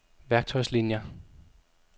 værktøjslinier